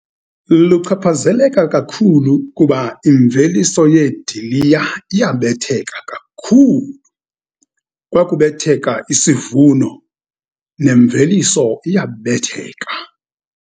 Luchaphazeleka kakhulu, kuba imveliso yeediliya iyabetheka kakhulu. Kwakubetheka isivuno nemveliso iyabetheka.